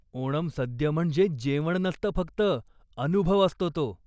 ओनम सद्य म्हणजे जेवण नसतं फक्त, अनुभव असतो तो.